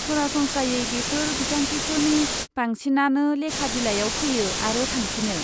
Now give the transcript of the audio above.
सरासनस्रायै, बेफोर बिथांखिफोरनि बांसिनानो लेखा बिलाइयाव फैयो आरो थांफिनो।